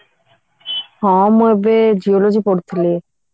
ହଁ ମୁଁ ଏବେ geology ପଢୁଥିଲି